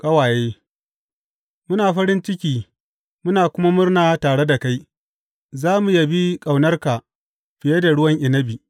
Ƙawaye Muna farin ciki muna kuma murna tare da kai, za mu yabi ƙaunarka fiye da ruwan inabi.